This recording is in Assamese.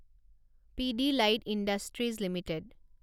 Pidilite industries limited